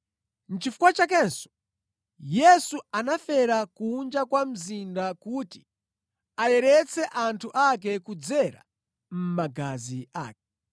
Nʼchifukwa chakenso Yesu anafera kunja kwa mzinda kuti ayeretse anthu ake kudzera mʼmagazi ake.